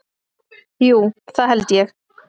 Jú, það held ég